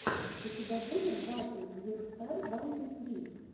у тебя будет батл викстар ван ту фри